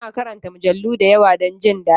Ta na karanta mujallu da yawa don jin daɗi